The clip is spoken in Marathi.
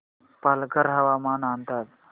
पालघर हवामान अंदाज